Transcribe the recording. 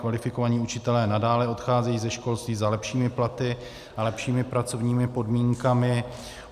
Kvalifikovaní učitelé nadále odcházejí ze školství za lepšími platy a lepšími pracovními podmínkami.